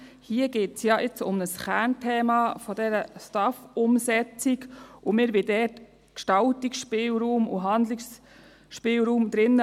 Hier geht es ja um ein Kernthema dieser STAF-Umsetzung, und wir wollen dort Gestaltungsspielraum und Handlungsspielraum drin lassen.